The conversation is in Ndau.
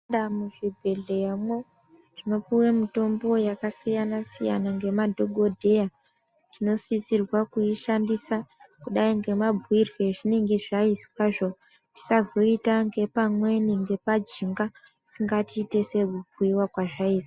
Tikapinda muzvibhedhleya tinopuwe mitombo yakasiyana siyana ngemadhogodheya tinosisirwa kuishandisa kudai ngemabuirwe ezvinenge zvaizwazvo tisazoita ngepamweni ngepajinga asi ngatiite sekubhuiwa kwazvaizwa.